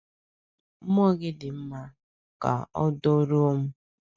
Mmụọ gị dị mma; kà ọ dụrọ m.